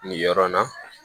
Nin yɔrɔ in na